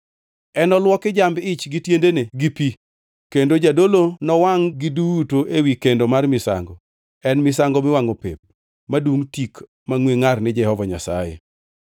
Enoluoki jamb-ich gi tiendene gi pi, kendo jadolo nowangʼ-gi duto ewi kendo mar misango. En misango miwangʼo pep, madungʼ tik mangʼwe ngʼar ni Jehova Nyasaye.